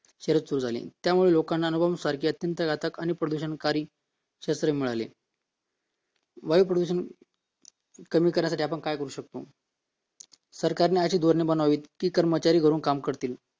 शर्यत सुरू झाली त्यामुळे लोकांना अणुबॉम्ब सारखी घातक आणि विषारी शस्त्र मिळाले वायु प्रदूषण कमी करण्यासाठी आपण काय करू शकतो सरकारने अशी धोरणे बनवावेत की लोकं घरून कामे करते